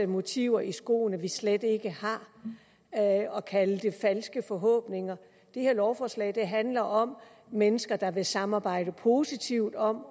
motiver i skoene vi slet ikke har og kalde det falske forhåbninger det her lovforslag handler om mennesker der vil samarbejde positivt om